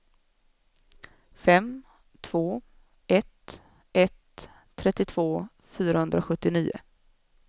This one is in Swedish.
fem två ett ett trettiotvå fyrahundrasjuttionio